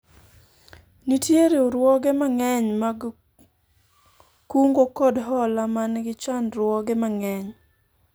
nitie riwruoge mang'eny mag kungo kod hola man gi chandruoge mang'eny